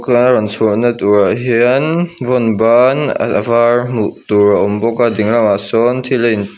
ti lai rawn chhuahna turah hiannn vawnban a var hmuh tur a awm bawk a ding lamah sawnn thil a--